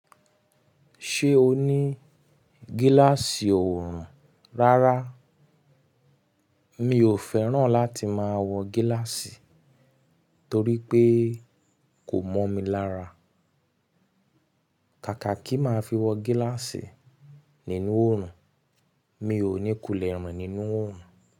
Ṣé o ní gíláàsì oòrùn? Rárá, mi ò fẹ́ràn láti máa wọ gíláàsì torí pé kò mọ́ mi lára. Kàkà kí máa fi wọ gíláàsì nínú òòrùn, mi ò ní kulẹ̀ rin nínú òòrùn.